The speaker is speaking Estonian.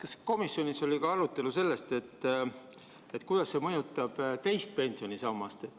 Kas komisjonis oli arutelu ka selle üle, kuidas see mõjutab teist pensionisammast?